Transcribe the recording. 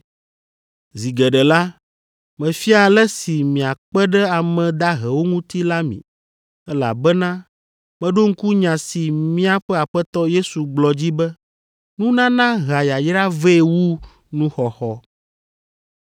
Zi geɖe la, mefia ale si miakpe ɖe ame dahewo ŋuti la mi, elabena meɖo ŋku nya si míaƒe Aƒetɔ Yesu gblɔ dzi be, ‘Nunana hea yayra vɛ wu nuxɔxɔ.’ ”